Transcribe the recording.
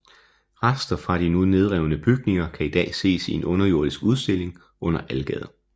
Rester fra de nu nedrevne bygninger kan i dag ses i en underjordisk udstilling under Algade